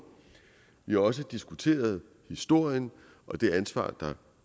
vi har også diskuteret historien og det ansvar der